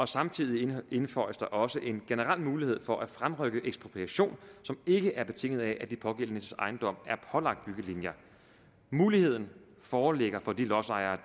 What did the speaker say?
samtidig indføjes der også en generel mulighed for at fremrykke ekspropriation som ikke er betinget af at de pågældendes ejendom er pålagt byggelinjer muligheden foreligger for de lodsejere